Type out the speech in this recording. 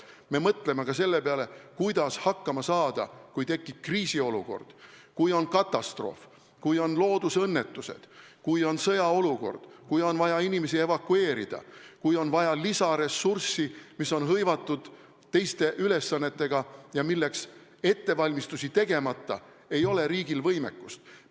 Me mõtleme ka selle peale, kuidas hakkama saada, kui tekib kriisiolukord, kui on katastroof, kui on loodusõnnetused, kui on sõjaolukord, kui on vaja inimesi evakueerida, kui on vaja lisaressurssi, mis on hõivatud teiste ülesannetega ja milleks ettevalmistusi tegemata ei ole riigil võimekust.